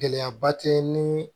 Gɛlɛyaba tɛ ni